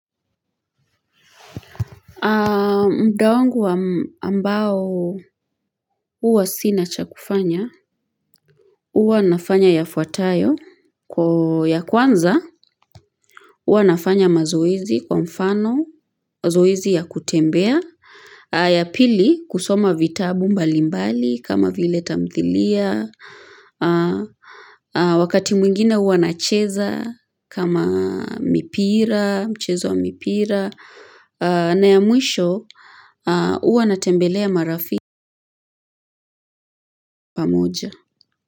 Mda wangu ambao uwa sina cha kufanya, uwa nafanya yafwatayo kwa ya kwanza, uwa nafanya mazoezi kwa mfano, zoezi ya kutembea, ya pili kusoma vitabu mbalimbali kama vile tamthilia, wakati mwingine uwa nacheza kama mipira, mchezo wa mipira. Na ya mwisho uwa natembelea marafi pamuja.